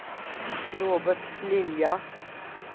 Robert Lilja